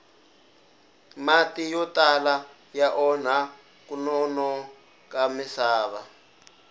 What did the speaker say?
mati yo tala ya onha kunona ka misava